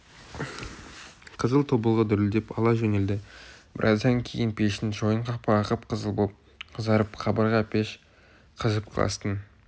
қызыл тобылғы дүрілдеп ала жөнелді біраздан кейін пештің шойын қақпағы қып-қызыл боп қызарып қабырға пеш қызып кластың